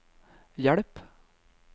hjelp